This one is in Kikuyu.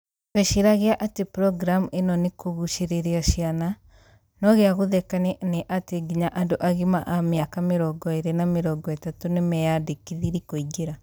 tweciragia atï programu ĩno nĩ kũgucĩrĩria ciana, no gïa gũthekania nĩ atĩ nginya andũ agima a miaka 20 na 30 nĩmeyandĩkithirie kũingïra